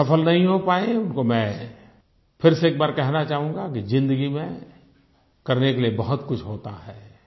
जो सफल नहीं हो पाए हैं उनको मैं फिर से एक बार कहना चाहूँगा कि ज़िंदगी में करने के लिए बहुतकुछ होता है